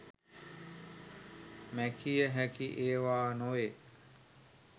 මැකිය හැකි ඒවා නොවේ